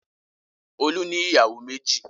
Olú ní ìyàwó méjì.